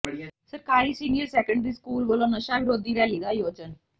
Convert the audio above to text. ਸਰਕਾਰੀ senior secondary school ਵਲੋਂ ਨਸ਼ਾ ਵਿਰੋਧੀ ਰੈਲੀ ਦਾ ਆਯੋਜਨ